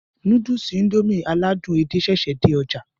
Núdùùsì Indomie aládùn edé ṣẹṣẹ dé ọjà